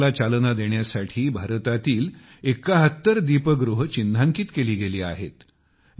पर्यटनाला चालना देण्यासाठी भारतातील एक्काहत्तर दीपगृहे चिन्हांकित केली गेली आहेत